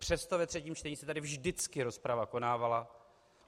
Přesto ve třetím čtení se tady vždycky rozprava konávala.